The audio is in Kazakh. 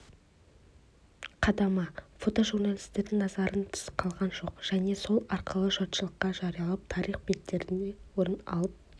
қадамы фотожурналистердің назарынан тыс қалған жоқ және солар арқылы жұртшылыққа жарияланып тарих беттерінен орын алып